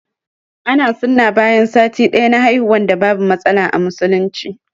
Ana sunna bayan sati daya na haihuwan da babu matsala a musulunci.